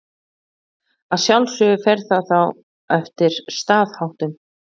Að sjálfsögðu fer það þá eftir staðháttum.